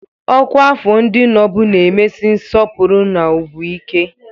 Ọkwa afọ ndị nobụ na-emesi nsọpụrụ na ugwu ike.